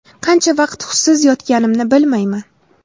Qancha vaqt hushsiz yotganimni bilmayman.